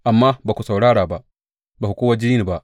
Amma ba ku saurara ba, ba ku kuwa ji ni ba.